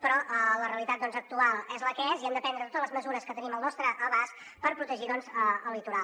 però la realitat actual és la que és i hem de prendre totes les mesures que tenim al nostre abast per protegir el litoral